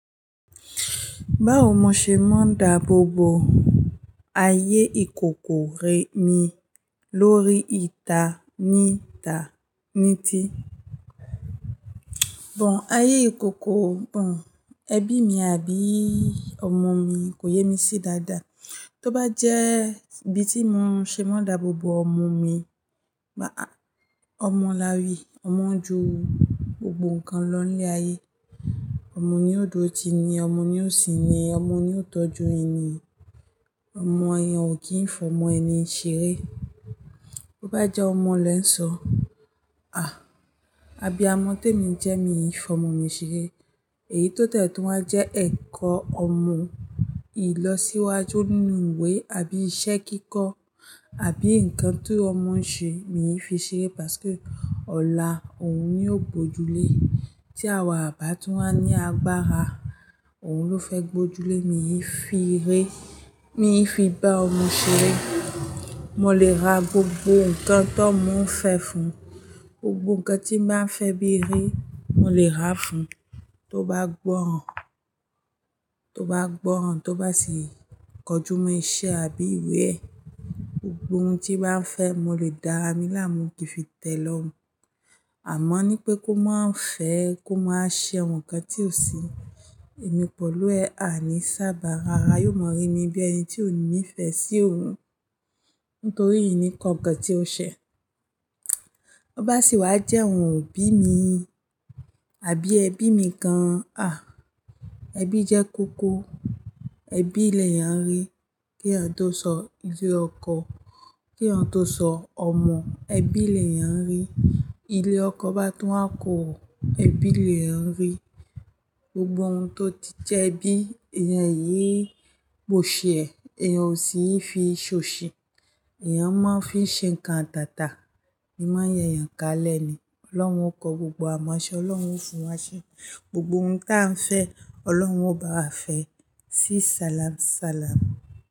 Bá ò mo ṣé mọ dáà bò bò, ayé ìkòkò rè mi lórí ìta níta níti. Bò ó, ayé ìkòkò, bò ó, ẹbí mi àbí ọmọ mi kò yé mi sí dáadáa. Tó bá jẹ́ ibi tí mo ṣé mọ dáà bò bò ọmọ mi, máa a, ọmọ là wì, ọmọ jù gbogbo nǹkan lọ ní ayé. Ọmọ ni ó dòtí ni, ọmọ ni ó sì ni, ọmọ ni ó tọ́jú ènì, ọmọ èèyàn ò kí ń fọ́mọ ẹni ṣeré. Tó bá jẹ́ ọmọ lẹ̀ ń sọ, "À! Abí amọ̀ tèmi jẹ́ mi ń yí fọmọ mi ṣeré." Èyí tó tẹ́ẹ̀ tó máa jẹ́ ẹ̀kọ́ ọmọ, ìlọ̀síwájú nínú ìwé àbí iṣẹ́ kíkọ́, àbí nǹkan tó ọmọ ń ṣe mi yí fi ṣeré, pàsị́kẹ́ ọ̀là òun ní ó gbòjúlé. Tí àwọn bàbá tọ́ máa ní agbára, òun ló fẹ́ gbòjúlé mi yí fi ré, mi yí fi bá ọmọ ṣeré. Mọ lè ra gbogbo nǹkan tó ọmọ ń fẹ́ fún, gbogbo nǹkan tí bá ń fẹ́ bí ré, mọ lè ráá fún. Tó bá gbọ́ràn, tó bá gbọ́ràn, tó bá ṣì kọjú mọ iṣẹ́ àbí ìwé ẹ̀, gbogbo ohun tí bá ń fẹ́ mọ lè dára mi lámú kí ń fi tẹ́ lorun. Àmọ́ ní pé kó má ń fẹ́ ẹ, kó má ṣé nǹkan tí ò sí. Èmi pọ̀lú ẹ̀ à ní sábà rárá, yóò mọ rí mi bí ẹni tí ò nífẹ̀ẹ́ sí òun nítorí ìní nǹkan kan tí ó ṣẹ. Tó bá ṣì wá jẹ́ ohun ò bí mi àbí ẹbí mi kan, à! Ẹbí jẹ́ kókó, ẹbí lẹ̀ yán rí. Kí èeyàn tó sọ ilé ọkọ, kí èeyàn tó sọ ọmọ, ẹbí lẹ̀ yán rí. Ilé ọkọ bá tọ́ á kò rò, ẹbí lẹ̀ yán rí. Gbogbo ohun tó ti jẹ́ ẹbí, èèyàn yé è pò ṣè ẹ, èèyàn ò sí ń fi ṣọ́ ṣẹ. Èèyàn máa ń fi ṣe nǹkan atàtà, ẹmẹ̀ ẹyẹ yán kálẹ̀ ni. Ọlọ́run ó kọ gbogbo àmò ẹṣẹ, Ọlọ́run ó fún wa ṣe. Gbogbo ohun tí a ń fẹ́, Ọlọ́run ó bá á fẹ́ sí salam-salam.